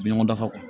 Bi ɲɔgɔn dafa kɔni